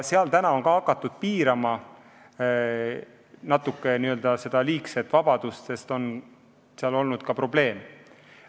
Seal on ka hakatud natuke seda liigset vabadust piirama, sest on olnud probleeme.